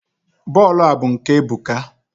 bọọlụ a bụ nke Ebuka.